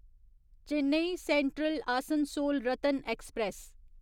Chennai central Asansol Ratna express